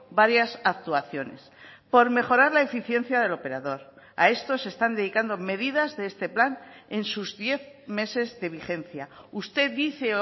varias actuaciones por mejorar la eficiencia del operador a esto se están dedicando medidas de este plan en sus diez meses de vigencia usted dice